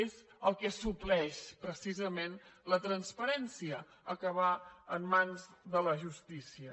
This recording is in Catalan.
és el que supleix precisament la transparència acabar en mans de la justícia